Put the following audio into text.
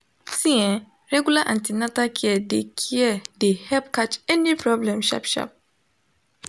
see ehh regular an ten atal care de care de help catch any problem sharp sharp